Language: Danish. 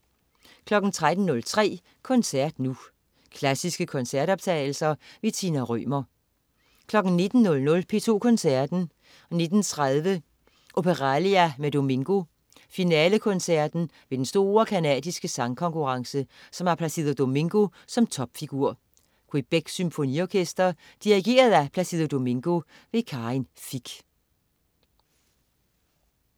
13.03 Koncert Nu. Klassiske koncertoptagelser. Tina Rømer 19.00 P2 Koncerten. 19.30 Opéralia med Domingo. Finalekoncerten ved den store canadiske sangkonkurrence, som har Placido Domingo som topfigur. Quebecs Symfoniorkester. Dirigent: Placido Domingo. Karin Fich